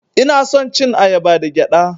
Ina son cin ayaba da gyaɗa.